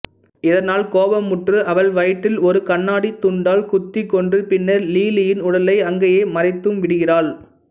இதனால் கோபமுற்று அவள் வயிற்றில் ஒரு கண்ணாடித் துண்டால் குத்திக் கொன்று பின்னர் லிலியின் உடலை அங்கேயே மறைத்தும் விடுகிறாள்